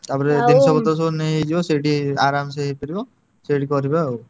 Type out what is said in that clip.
ତାପରେ ଜିନିଷପତ୍ର ସବୁ ନେଇଯିବା ସେଇଠି ଆରମସେ ଇଏ କରିବ। ସେଇଠି କରିବା ଆଉ।